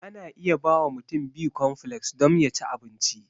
Ana iya bawa mutum bikonfleks dom ya ci abinci.